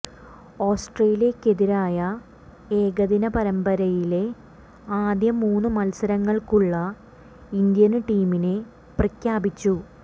ഓസ്ട്രേലിയയ്ക്കെതിരായ ഏകദിന പരമ്പരയിലെ ആദ്യ മൂന്നു മല്സരങ്ങള്ക്കുള്ള ഇന്ത്യന് ടീമിനെ പ്രഖ്യാപിച്ചു